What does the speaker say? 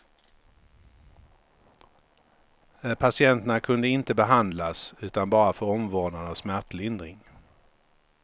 Patienterna kunde de inte behandlas utan bara få omvårdnad och smärtlindring.